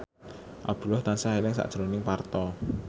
Abdullah tansah eling sakjroning Parto